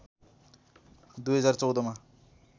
२०१४ मा